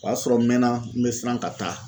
O y'a sɔrɔ n mɛna n bɛ siran ka taa.